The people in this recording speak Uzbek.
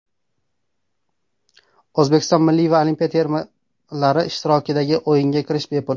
O‘zbekiston milliy va olimpiya termalari ishtirokidagi o‘yinga kirish bepul.